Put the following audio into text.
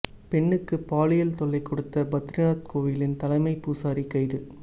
பெண்ணுக்கு பாலியல் தொல்லை கொடுத்த பத்ரிநாத் கோவிலின் தலைமை பூசாரி கைது